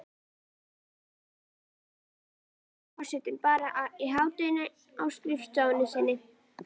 Næstu daga vinnur forsetinn bara til hádegis á skrifstofunni sinni.